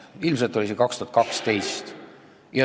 Ilmselt oli see 2012.